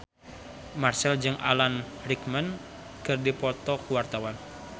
Marchell jeung Alan Rickman keur dipoto ku wartawan